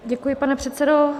Děkuji, pane předsedo.